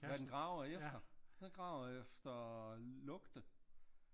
Hvad den graver efter? Den graver efter lugte